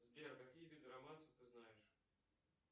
сбер какие виды романсов ты знаешь